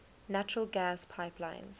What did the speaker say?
natural gas pipelines